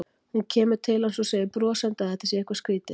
Hún kemur til hans og segir brosandi að þetta sé eitthvað skrýtið.